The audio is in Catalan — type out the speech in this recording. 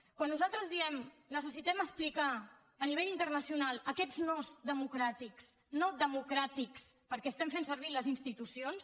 quan nosaltres diem necessitem explicar en l’àmbit internacional aquests no democràtics no democràtics perquè fem servir les institucions